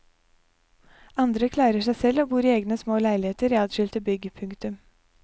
Andre klarer seg selv og bor i egne små leiligheter i adskilte bygg. punktum